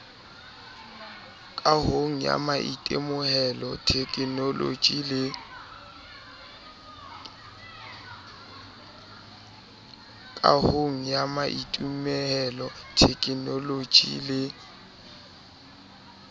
kahong ya maitemohelo thekenoloje le